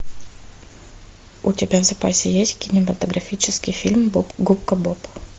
у тебя в запасе есть кинематографический фильм губка боб